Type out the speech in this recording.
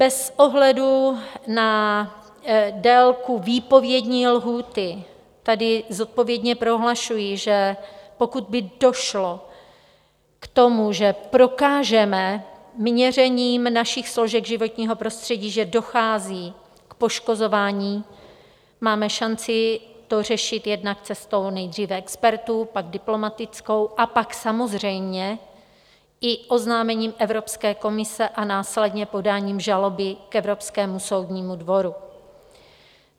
Bez ohledu na délku výpovědní lhůty tedy zodpovědně prohlašuji, že pokud by došlo k tomu, že prokážeme měřením našich složek životního prostředí, že dochází k poškozování, máme šanci to řešit jednak cestou nejdříve expertů, pak diplomatickou a pak samozřejmě i oznámením Evropské komisi a následně podáním žaloby k Evropskému soudnímu dvoru.